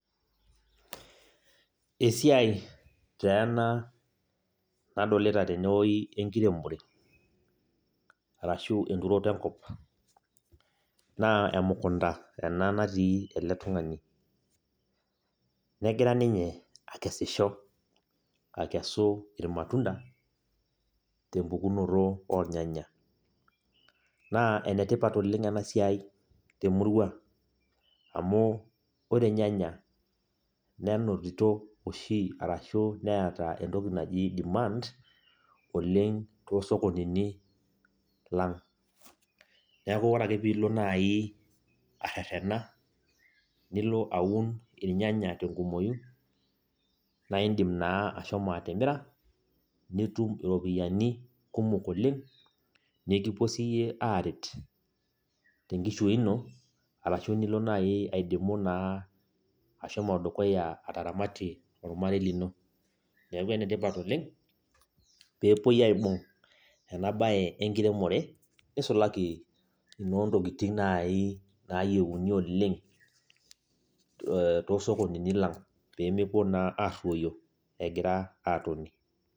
Esiai teena nadolita tenewoi enkiremore. Arashu enturoto enkop. Naa emukunda ena natii ele tung'ani. Negira ninye akesisho akesu irmatunda tempukunoto ornyanya. Naa enetipat oleng enasiai temurua amu ore irnyanya nenotito arashu neeta entoki naji demand, oleng tosokonini lang'. Neeku ore ake piilo nai arrerrena, nilo aun irnyanya tenkumoyu, na idim naa ashomo atimira, nitum iropiyiani kumok oleng, nikipuo siyie aret tenkishui ino, arashu nilo nai aidimu naa ashomo dukuya ataramatie ormarei lino. Neeku enetipat oleng, pepoi aibung enabae enkiremore, nisulaki ino ntokiting nai nayieuni oleng tosokonini lang',pemepuo naa arruyo, egira atoni.